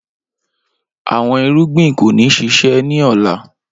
Awọn irugbin ko ni ṣiṣẹ ni ọla